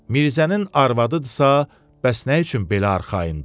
Mirzənin arvadıdırsa, bəs nə üçün belə arxayındır?